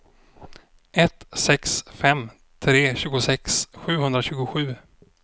ett sex fem tre tjugosex sjuhundratjugosju